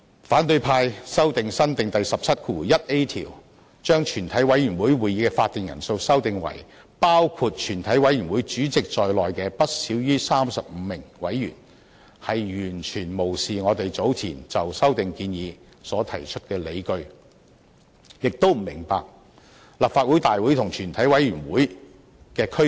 反對派修訂新訂第17條，把全委會會議的法定人數修訂為"包括全體委員會主席在內的不少於35名委員"，完全無視我們早前就修訂建議所提出的理據，亦不明白立法會大會和全委會的區別。